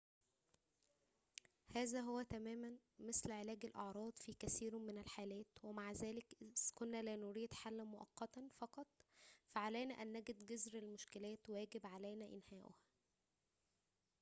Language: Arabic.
هذا هو تماماً مثل علاج الأعراض في كثير من الحالات ومع ذلك إذا كنا لا نريد حلاً مؤقتاً فقط فعلينا أن نجد جذر المشكلات ويجب علينا إنهائها